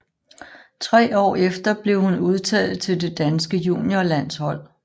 Tre år efter blev hun udtaget til det danske juniorlandshold